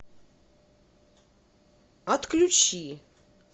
отключи